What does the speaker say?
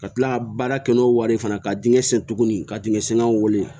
Ka tila baara kɛ n'o wari ye fana ka dingɛ sen tuguni ka dingɛ sennaw wele